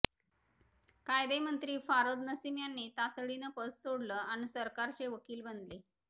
कायदेमंत्री फारोध नसीम यांनी तातडीनं पद सोडलं अन् सरकारचे वकील बनले